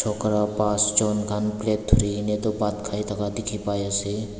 chokora pasjon khan plate dhurikaena tu bhat khai thaka dikhipaiase.